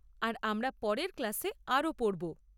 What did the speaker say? আর আমরা পরের ক্লাসে আরও পড়ব।